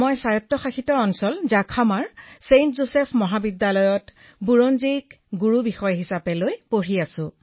বিনোলে কিসৌঃ মহাশয় মই ছেইণ্ট যোছেফ মহাবিদ্যালয় জাখামা স্বায়ত্বশাসিতত ইতিহাস সন্মান বিষয়ৰ স্নাতক অধ্যয়ন কৰি আছো